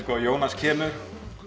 að Jónas kemur